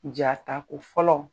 Jaata ko fɔlɔ.